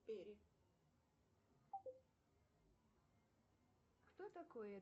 салют давай соберем голос